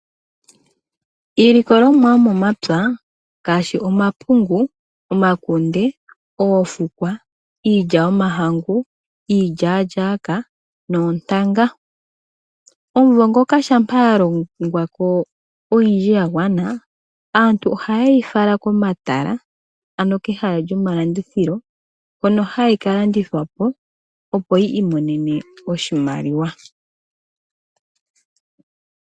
Iilikolomwa yomomapya ngaashi omapungu, omakunde, oofukwa, iilya yomahangu, iilyaalyaaka noontanga omumvo ngoka shampa yalongwa yagwana, aantu ohayeyi fala komatala. Kehala lyomalandithilo hono hayi kalandithwapo opo yi imonene oshimaliwa.